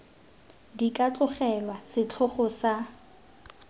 di ka tlogelwa setlhogo sa